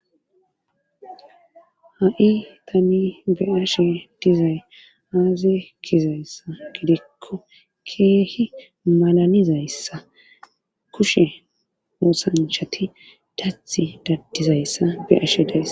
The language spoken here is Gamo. ha7i tani be ashe dizay aazi gizayssa gidikko keehi malanizayssa kushe moosanchati dathi daddizayssa be ashe days